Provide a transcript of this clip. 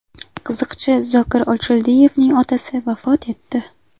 Qiziqchi Zokir Ochildiyevning otasi vafot etdi.